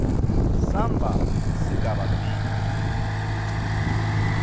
samba sigaba b